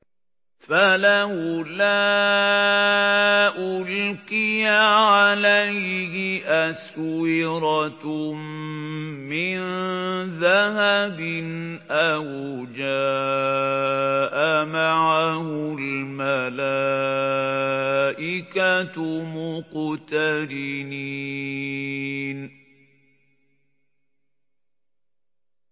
فَلَوْلَا أُلْقِيَ عَلَيْهِ أَسْوِرَةٌ مِّن ذَهَبٍ أَوْ جَاءَ مَعَهُ الْمَلَائِكَةُ مُقْتَرِنِينَ